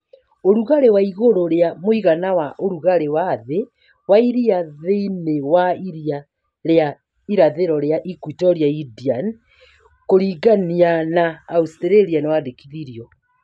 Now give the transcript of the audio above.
Ũrugarĩ wa igũrũ rĩa mũigana wa ũrugarĩ wa thĩ wa iria thĩniĩ wa iria rĩa irathĩro rĩa Equatorial Indian (kũrigania na Australia) nĩwandĩkithirio